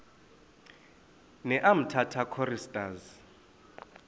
ne umtata choristers